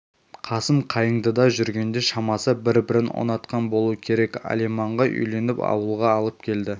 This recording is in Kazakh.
қасым қайыңдыда жүргенде шамасы бір-бірін ұнатқан болу керек алиманға үйленіп ауылға алып келді